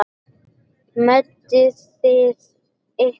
Meidduð þið ykkur?